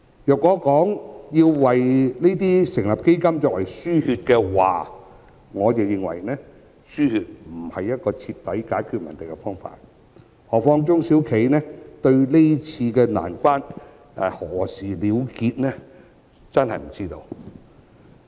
若說要為此成立基金以作"輸血"，我認為"輸血"不是徹底解決問題的方法，何況中小企根本不知道今次難關何時結束。